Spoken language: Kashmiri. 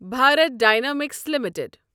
Bharat Dynamics limited